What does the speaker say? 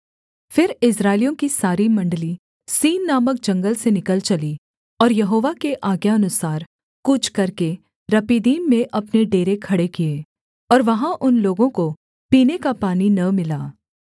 फिर इस्राएलियों की सारी मण्डली सीन नामक जंगल से निकल चली और यहोवा के आज्ञानुसार कूच करके रपीदीम में अपने डेरे खड़े किए और वहाँ उन लोगों को पीने का पानी न मिला